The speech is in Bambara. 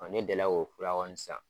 Ɔn ne deli la k'o fura kɔni san.